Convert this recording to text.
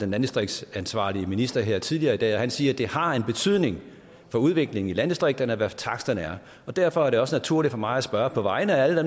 landdistriktsansvarlige minister om det her tidligere i dag og han siger at det har en betydning for udviklingen i landdistrikterne hvad taksterne er derfor er det også naturligt for mig at spørge på vegne af alle